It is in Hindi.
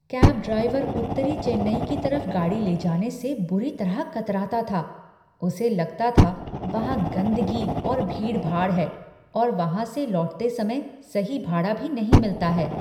कैब ड्राइवर उत्तरी चेन्नई की तरफ गाड़ी ले जाने से बुरी तरह कतराता था। उसे लगता था वहाँ गंदगी और भीड़ भाड़ है और वहाँ से लौटते समय सही भाड़ा भी नहीं मिलता है।